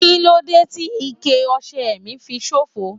Kí lóde ti ikẹ ọ̀sẹ̀ mí fi ṣòfò?